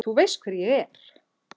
Þú veist hver ég er.